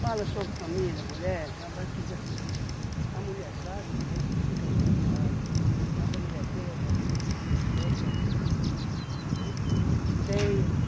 Fala sobre família, mulher, tem uma parte que diz assim, a mulher sábia edifica sua casa, mas a mulher tola derriba com suas própria mão, né? Tem